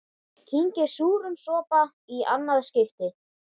Ég kyngi súrum sopa í annað skipti.